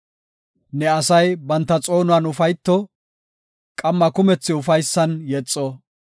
Ne asay banta xoonuwan ufayto; qamma kumethi ufaysan yexo.